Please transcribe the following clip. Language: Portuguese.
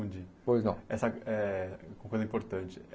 Pois não Essa eh uma coisa importante.